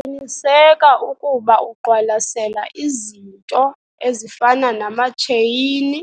Qiniseka ukuba uqwalasela izinto ezifana namatsheyini